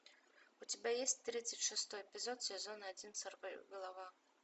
у тебя есть тридцать шестой эпизод сезон один сорвиголова